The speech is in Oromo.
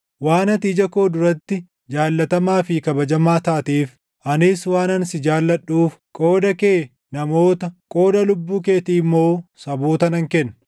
Waan ati ija koo duratti jaallatamaa fi kabajamaa taateef, anis waanan si jaalladhuuf, qooda kee namoota qooda lubbuu keetii immoo saboota nan kenna.